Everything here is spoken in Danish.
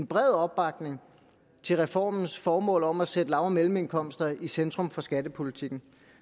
bred opbakning til reformens formål om at sætte lav og mellemindkomster i centrum for skattepolitikken